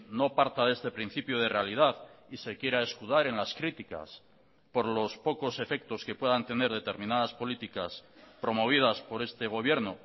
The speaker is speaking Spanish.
no parta de este principio de realidad y se quiera escudar en las críticas por los pocos efectos que puedan tener determinadas políticas promovidas por este gobierno